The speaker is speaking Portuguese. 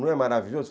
Não é maravilhoso?